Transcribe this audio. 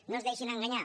no es deixin enganyar